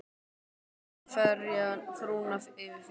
Á ég ekki að ferja frúna yfir fyrst?